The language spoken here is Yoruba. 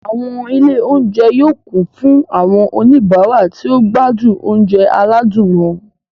Àwọn ilé-oúnjẹ yóò kún fún àwọn oníbàárà tó ń gbádùn oúnjẹ aládùn wọn.